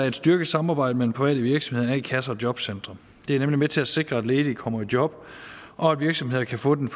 et styrket samarbejde mellem private virksomheder a kasser og jobcentre det er nemlig med til at sikre at ledige kommer i job og at virksomheder kan få den